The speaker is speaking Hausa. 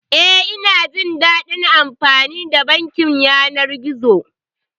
Eh, ina jin daɗin amfani da bankin yanar gizo.